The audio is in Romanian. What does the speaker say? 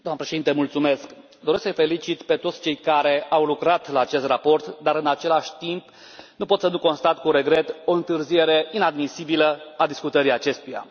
Doamnă președintă, doresc să îi felicit pe toți cei care au lucrat la acest raport, dar, în același timp, nu pot să nu constat cu regret o întârziere inadmisibilă a discutării acestuia.